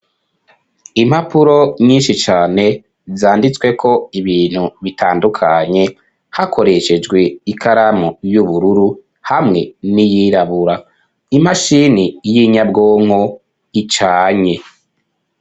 Impapuro nyinshi cane zanditsweko ibintu bitandukanye hakoreshejwe ikaramu y'ubururu, hamwe n'iyirabura. Imashini y'inyabwonko icanye.